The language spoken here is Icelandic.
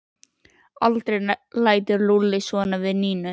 Aldrei lætur Lúlli svona við Nínu!